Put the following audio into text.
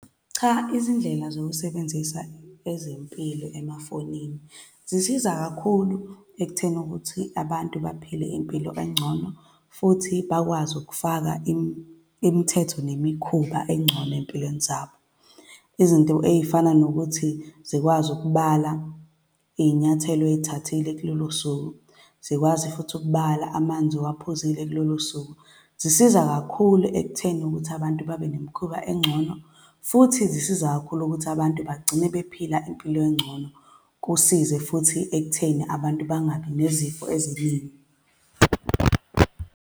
Cha, izindlela zokusebenzisa ezempilo emafonini zisiza kakhulu ekutheni ukuthi abantu baphile impilo engcono, futhi bakwazi ukufaka imithetho nemikhuba engcono ey'mpilweni zabo. Izinto ey'fana nokuthi zikwazi ukubala iy'nyathelo ozithathile kulolo suku, zikwazi futhi ukubala amanzi owuphuzile kulolo suku, zisiza kakhulu ekutheni ukuthi abantu babe nemikhuba engcono. Futhi zisiza kakhulu ukuthi abantu bagcine bephila impilo engcono. Kusize futhi ekutheni abantu bangabi nezifo eziningi.